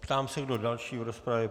Ptám se, kdo další v rozpravě?